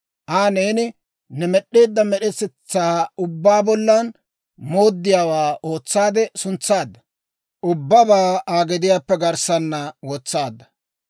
Aa neeni ne med'd'eedda med'etetsaa ubbaa bollan mooddiyaawaa ootsaade suntsaadda; ubbabaa Aa gediyaappe garssanna wotsaadda.